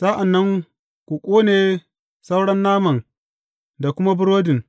Sa’an nan ku ƙone sauran naman da kuma burodin.